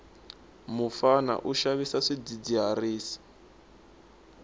mufana u xavisa swidzidziharisi